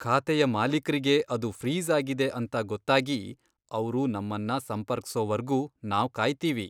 ಖಾತೆಯ ಮಾಲೀಕ್ರಿಗೆ ಅದು ಫ್ರೀಜ್ ಆಗಿದೆ ಅಂತ ಗೊತ್ತಾಗಿ ಅವ್ರು ನಮ್ಮನ್ನ ಸಂಪರ್ಕ್ಸೋವರ್ಗೂ ನಾವ್ ಕಾಯ್ತೀವಿ.